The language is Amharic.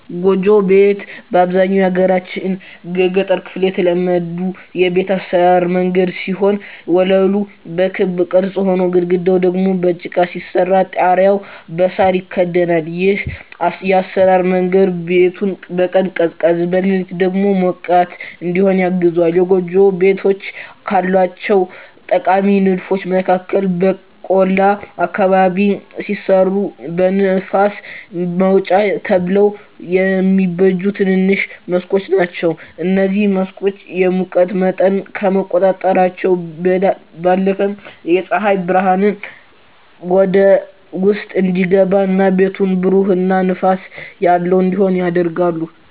ጎጆ ቤት በአብዛኛው የሀገራችን የገጠር ክፍል የተለመዱ የቤት አሰራር መንገድ ሲሆን ወለሉ በክብ ቅርጽ ሆኖ፣ ግድግዳው ደግሞ በጭቃ ሲሰራ ጣሪያው በሳር ይከደናል። ይህ የአሰራር መንገድ ቤቱን በቀን ቀዝቃዛ፣ በሌሊት ሞቃት እዲሆን ያግዘዋል። የጎጆ ቤቶች ካላቸው ጠቃሚ ንድፎች መካከል በቆላ አካባቢ ሲሰሩ ለንፋስ ማውጫ ተብለው የሚበጁ ትንንሽ መስኮቶች ናቸዉ። እነዚህ መስኮቶች የሙቀት መጠንን ከመቆጣጠራቸው ባለፈም ፀሐይ ብርሃን ወደ ውስጥ እንዲገባ እና ቤቱን ብሩህ እና ንፋስ ያለው እንዲሆን ያደርጋሉ።